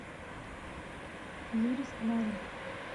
юре скляре